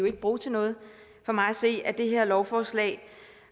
ikke bruge til noget for mig at se er det her lovforslag